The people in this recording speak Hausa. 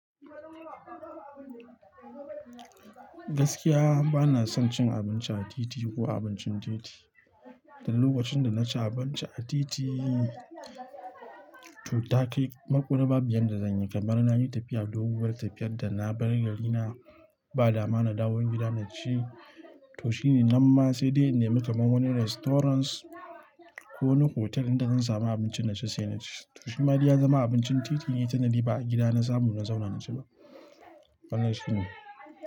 Gaskiya bana son cin abinci a titi ko abincin titi. Dan lokacin da na ci abinci a titi, to takai makurar babu yadda zanyi kamar nayi tafiya doguwar tafiyar da na bar gari na ba dama na dawo gida naci. To shine namma sai dai in nemi kamar wani restaurant ko wani hotel inda zan samu abincin naci sai naci. To shi ma dai ya zama abincin titi ne tunda ba'a gida na samu na zauna naci ba. Wannan shi ne.